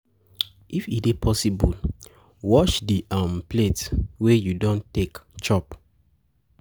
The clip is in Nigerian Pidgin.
If e dey possible wash di um plates wey you don take chop